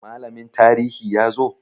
Malamin tarihi ya zo?